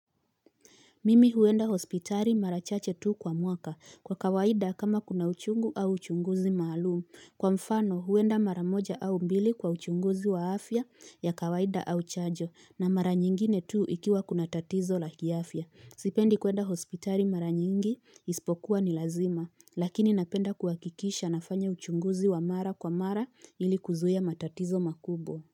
Mimi huenda hospitari mara chache tu kwa mwaka kwa kawaida kama kuna uchungu au uchunguzi maalum Kwa mfano huenda mara moja au mbili kwa uchunguzi wa afya ya kawaida au chajo na mara nyingine tu ikiwa kuna tatizo la kiafya. Sipendi kuenda hospitari mara nyingi ispokuwa ni lazima lakini napenda kuakikisha nafanya uchunguzi wa mara kwa mara ili kuzuia matatizo makubwa.